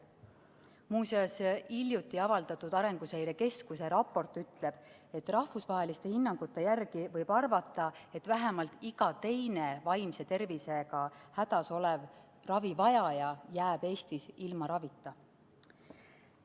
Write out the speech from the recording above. Muuseas, hiljuti avaldatud Arenguseire Keskuse raport ütleb, et rahvusvaheliste hinnangute järgi võib arvata, et vähemalt iga teine vaimse tervisega hädas olev ravivajaja jääb Eestis ilma ravita.